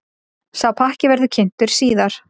Sá pakki verði kynntur síðar.